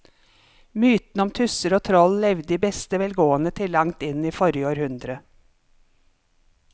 Mytene om tusser og troll levde i beste velgående til langt inn i forrige århundre.